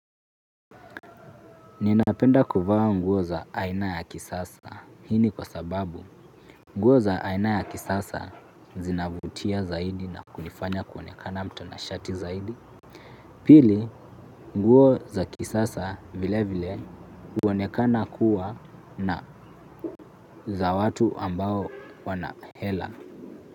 Ninapenda kuvaa nguo za aina ya kisasa. Hii ni kwa sababu nguo za aina ya kisasa zinavutia zaidi na kunifanya kuonekana mtana shati zaidi. Pili nguo za kisasa vile vile huonekana kuwa na za watu ambao wana hela.